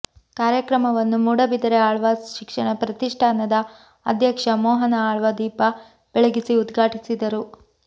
ಕಾರ್ಯಕ್ರಮವನ್ನು ಮೂಡಬಿದರೆ ಆಳ್ವಾಸ್ ಶಿಕ್ಷಣ ಪ್ರತಿಷ್ಠಾನದ ಅಧ್ಯಕ್ಷ ಮೋಹನ ಆಳ್ವ ದೀಪ ಬೆಳಗಿಸಿ ಉದ್ಘಾಟಿಸಿದರು